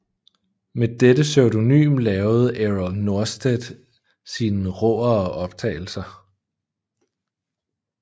Med dette pseudonym lavede Errol Norstedt sine råere optagelser